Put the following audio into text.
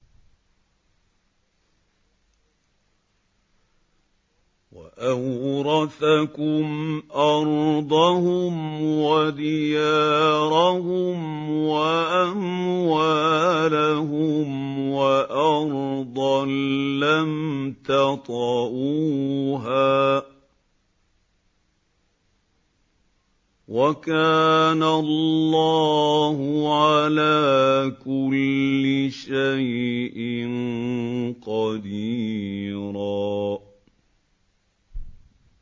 وَأَوْرَثَكُمْ أَرْضَهُمْ وَدِيَارَهُمْ وَأَمْوَالَهُمْ وَأَرْضًا لَّمْ تَطَئُوهَا ۚ وَكَانَ اللَّهُ عَلَىٰ كُلِّ شَيْءٍ قَدِيرًا